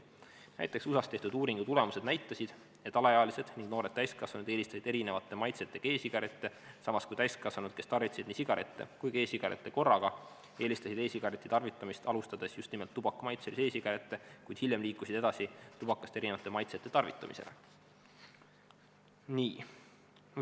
USAs tehtud uuringu tulemused näitasid, et alaealised ning noored täiskasvanud eelistasid erinevate maitsetega e-sigarette, samas kui täiskasvanud, kes tarvitasid nii sigarette kui ka e-sigarette korraga, eelistasid e-sigareti tarvitamist alustades tubakamaitselisi e-sigarette, kuid hiljem liikusid edasi tubakast erinevate maitsete tarvitamisele.